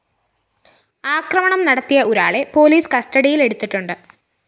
ആക്രമണം നടത്തിയ ഒരാളെ പോലീസ് കസ്റ്റഡിയില്‍ എടുത്തിട്ടുണ്ട്